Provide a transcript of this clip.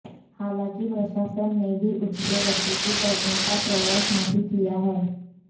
हालांकि प्रशासन ने भी उससे वसूली करने का प्रयास नहीं किया है